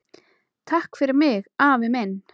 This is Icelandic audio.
Takk fyrir mig, afi minn.